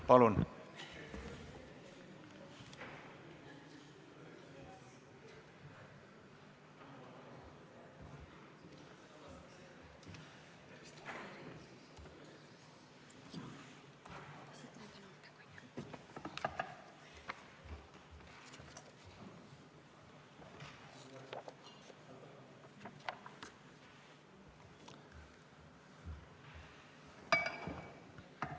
Palun!